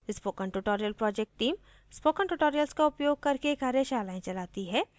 spoken tutorial project team spoken tutorials का उपयोग करके कार्यशालाएँ भी चलाती है